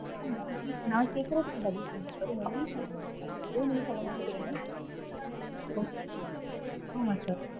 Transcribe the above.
நா கேக் நா கேக்கறதுக்கு பதில் சொல்லுங்க sir. உங்க name சொல்லுங்க. ஏன் நீங்க சொல்ல மாட்டேக்கிறீங்க?